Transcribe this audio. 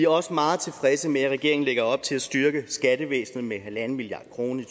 også meget tilfredse med at regeringen lægger op til at styrke skattevæsenet med en milliard kroner i